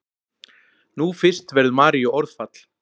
Nú fyrst verður Maríu orðfall.